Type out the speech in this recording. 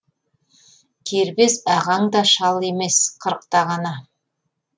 кербез ағаң да шал емес қырықта ғана